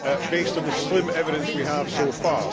based on the slim evidence we have so far.